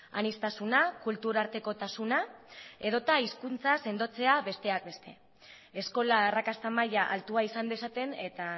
aniztasuna kulturartekotasuna edota hizkuntza sendotzea besteak beste eskola arrakasta maila altua izan dezaten eta